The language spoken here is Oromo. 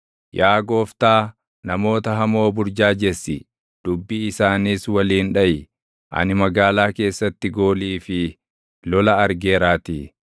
Yaa Gooftaa, namoota hamoo burjaajessi; dubbii isaaniis waliin dhaʼi; ani magaalaa keessatti goolii fi lola argeeraatii.